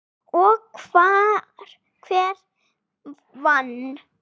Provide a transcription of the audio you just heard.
Og hver vann?